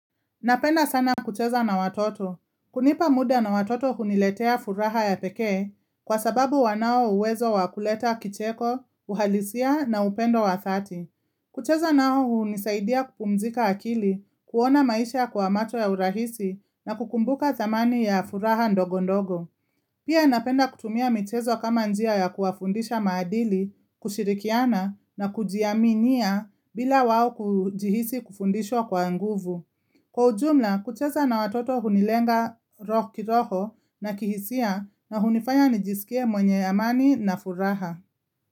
Napenda sana kucheza na watoto. Kunipa muda na watoto huniletea furaha ya pekee kwa sababu wanao uwezo wakuleta kicheko, uhalisia na upendo wa dhati. Kucheza nao hunisaidia kupumzika akili, kuona maisha kwa macho ya urahisi na kukumbuka dhamani ya furaha ndogo ndogo. Pia napenda kutumia michezo kama njia ya kuwafundisha maadili, kushirikiana na kujiaminia bila wao kujihisi kufundishwa kwa nguvu. Kwa ujumla, kucheza na watoto hunilenga kiroho na kihisia na hunifanya nijisikie mwenye amani na furaha.